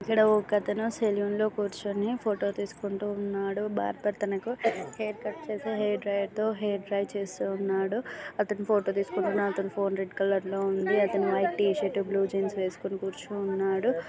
ఇక్కడ ఒక అతను సలూన్ లో కూర్చొని ఫోటో తీస్కుంటూ ఉన్నాడు .బార్బర్ తనకు హెయిర్ కట్ చేసే హెయిర్ డ్రైయర్ తో హెయిర్ డ్రై చేస్తున్నాడు. అతను ఫోటో తీస్కుంటున్న అతని ఫోన్ రెడ్ కలర్ లో ఉంది .అతను white T shirt blue jeans వేస్కొని కూర్చుని ఉన్నాడు .